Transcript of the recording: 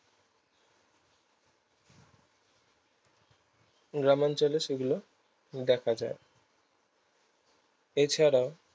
গ্রামাঞ্চলে সেগুলো দেখা যায় এছাড়াও